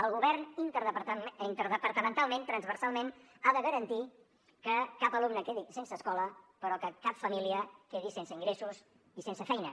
el govern interdepartamentalment transversalment ha de garantir que cap alumne quedi sense escola però que cap família quedi sense ingressos i sense feina